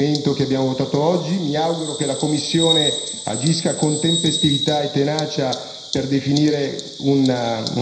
Mi auguro che la Commissione agisca con tempestività e tenacia per definire un provvedimento ancora più organico.